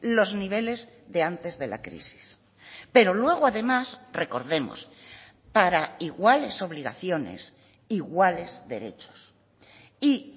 los niveles de antes de la crisis pero luego además recordemos para iguales obligaciones iguales derechos y